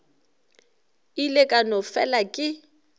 ile ka no fela ke